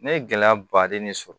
Ne ye gɛlɛya baden de sɔrɔ